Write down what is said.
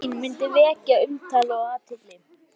Fjarvera mín mundi vekja umtal og athygli.